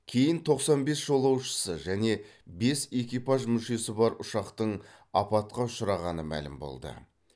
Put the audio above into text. кейін тоқсан бес жолаушысы және бес экипаж мүшесі бар ұшақтың апатқа ұшырағаны мәлім болды